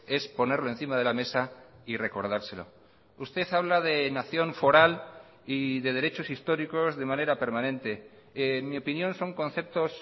es ponerlo encima de la mesa y recordárselo usted habla de nación foral y de derechos históricos de manera permanente en mi opinión son conceptos